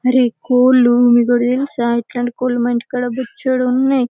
అర్ కోళ్లు మీకోటి తెలుసా ఇట్లాంటి కోళ్లు మా ఇంటికాడ బొచుతున్నాయి.